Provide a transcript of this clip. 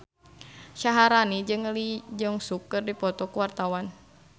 Syaharani jeung Lee Jeong Suk keur dipoto ku wartawan